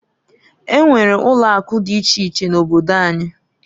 E nwere ulo akụ di iche iche n'obodo anyi.